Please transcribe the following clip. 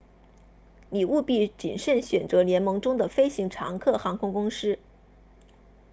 你务必谨慎选择联盟中的飞行常客航空公司